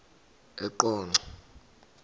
eqonco